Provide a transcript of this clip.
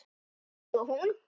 Ég og hún.